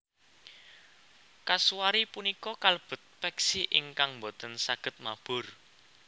Kasuari punika kalebet peksi ingkang boten saged mabur